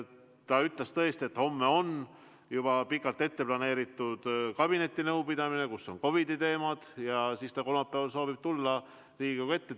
Ta ütles tõesti, et homme on juba pikalt ette planeeritud kabinetinõupidamine, kus on arutusel COVID-i teemad, ja kolmapäeval ta soovib tulla Riigikogu ette.